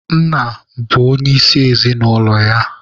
Nna bụ onyeisi ezinaụlọ ya.